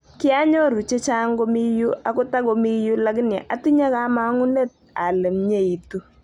Kianyoru chechaang komi yu ako tago mi yu lakini atinye kamang'unet ale myeitu